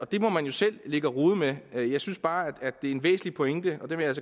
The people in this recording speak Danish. det må man jo selv ligge og rode med men jeg synes bare at det er en væsentlig pointe og det vil jeg